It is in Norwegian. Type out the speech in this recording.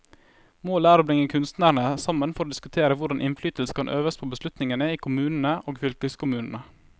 Målet er å bringe kunstnerne sammen for å diskutere hvordan innflytelse kan øves på beslutningene i kommunene og fylkeskommunene.